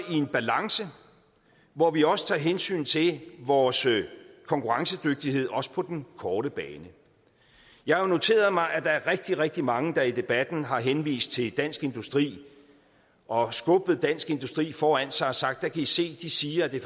i en balance hvor vi også tager hensyn til vores konkurrencedygtighed også på den korte bane jeg har noteret mig at der er rigtig rigtig mange der i debatten har henvist til dansk industri og skubbet dansk industri foran sig og sagt der kan i se de siger at det